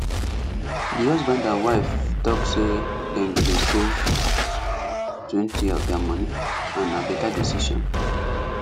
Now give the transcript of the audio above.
the husband and wife talk say dem go dey savetwentyof their money and na better decision